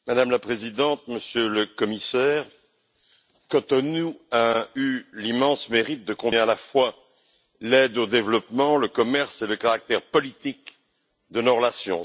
Madame la Présidente, Monsieur le Commissaire, Cotonou a eu l'immense mérite de combiner à la fois l'aide au développement, le commerce et le caractère politique de nos relations.